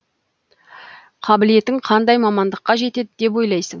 қабілетің қандай мамандыққа жетеді деп ойлайсың